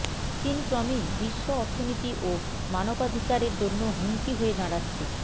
চিন ক্রমেই বিশ্ব অর্থনীতি ও মানবাধিকারের জন্য হুমকি হয়ে দাঁড়াচ্ছে